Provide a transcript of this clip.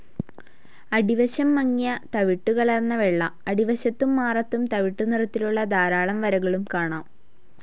അടിവശം മങ്ങിയ തവിട്ടു കലർന്ന വെള്ള, അടിവശത്തും മാറത്തും തവിട്ടുനിറത്തിലുള്ള ധാരാളം വരകളും കാണാം.